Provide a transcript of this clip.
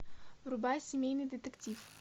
врубай семейный детектив